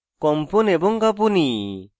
কম্পন এবং কাঁপুনি